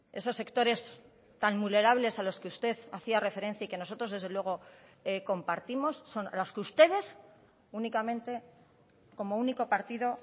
esos sectores tan vulnerables a los que usted hacía referencia y que nosotros desde luego compartimos son los que ustedes únicamente como único partido